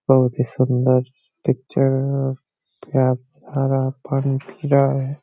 बहुत ही सुंदर पिक्चरर प्यार भारा है।